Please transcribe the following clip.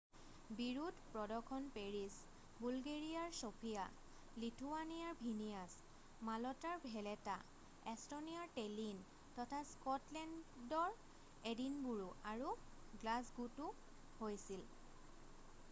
বিৰোধ প্ৰদৰ্শন পেৰিছ বুলগেৰীয়াৰ চফীয়া লিথুৱানীয়াৰ ভিনীয়াছ মালটাৰ ভেলেটা এষ্টনীয়াৰ টেলিন তথা স্কটলেণ্ডৰ এডিনবোৰো আৰু গ্লাছগোতও হৈছিল